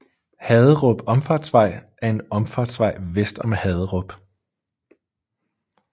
Haderup Omfartsvej er en omfartsvej vest om Haderup